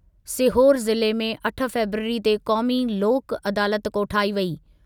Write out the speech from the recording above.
सीहोर ज़िले में अठ फ़ेबरवरी ते क़ौमी लोक अदालतु कोठाई वेंदी।